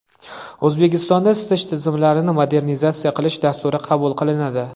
O‘zbekistonda isitish tizimlarini modernizatsiya qilish dasturi qabul qilinadi.